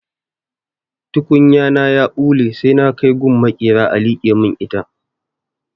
Tukunya na ya ɓule sai na kai gun maƙera a liƙe mun ita.